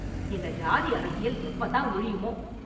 இந்த ஜாதி அரசியல் எப்ப தான் ஒழியுமோ?